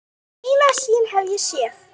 Eina sýn hef ég séð.